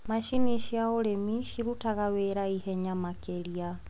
Macini cia ũrĩmi cirutaga wĩra ihenya makĩria.